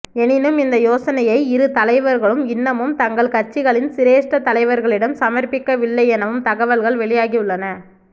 எனினும் இந்த யோசனையை இரு தலைவர்களும் இன்னமும் தங்கள் கட்சிகளின் சிரேஸ்ட தலைவர்களிடம் சமர்ப்பிக்கவில்லை எனவும் தகவல்கள் வெளியாகியுள்ளன